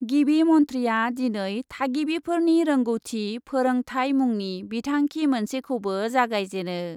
गिबि मन्थ्रिआ दिनै थागिबिफोरनि रोंगौथि फोरोंथाय मुंनि बिथांखि मोनसेखौबो जागायजेनो ।